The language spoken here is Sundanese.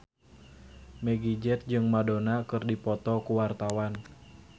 Meggie Z jeung Madonna keur dipoto ku wartawan